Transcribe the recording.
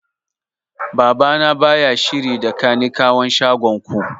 Baba na baya shiri da kanikawan shagon ku